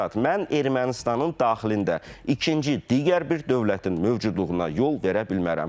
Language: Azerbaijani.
Mən Ermənistanın daxilində ikinci digər bir dövlətin mövcudluğuna yol verə bilmərəm.